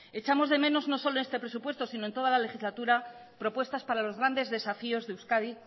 echamos de menos no solo en este presupuesto sino en toda la legislatura propuestas para los grandes desafíos de euskadi